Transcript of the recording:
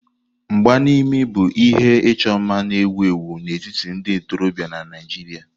Mgba n'imi bụ ihe ịchọ mma na-ewu ewu n'etiti ndị ntorobịa na Naijiria.